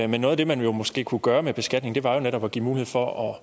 men noget af det man måske kunne gøre med beskatningen var jo netop at give mulighed for